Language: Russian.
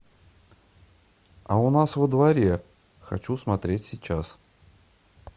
а у нас во дворе хочу смотреть сейчас